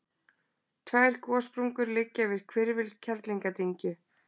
tvær gossprungur liggja yfir hvirfil kerlingardyngju